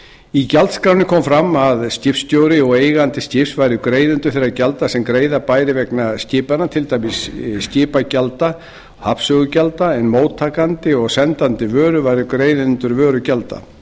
í gjaldskránni kom fram að skipstjóri og eigandi skips væru greiðendur þeirra gjalda sem greiða bæri vegna skipanna til dæmis skipagjalda og hafnsögugjalda en móttakandi og sendandi vöru væru greiðendur vörugjalda